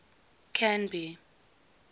canby